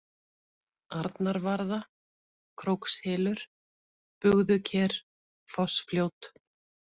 Arnarvarða, Krókshylur, Bugðuker, Fossfljót